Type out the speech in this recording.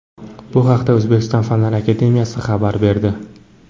Bu haqda O‘zbekiston Fanlar akademiyasi xabar berdi .